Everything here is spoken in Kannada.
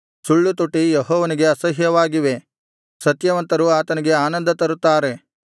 ಸುಳ್ಳುತುಟಿ ಯೆಹೋವನಿಗೆ ಅಸಹ್ಯವಾಗಿವೆ ಸತ್ಯವಂತರು ಆತನಿಗೆ ಆನಂದ ತರುತ್ತಾರೆ